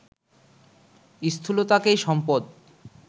স্থূলতাকেই সম্পদ